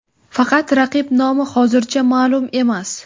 Faqat raqib nomi hozircha ma’lum emas.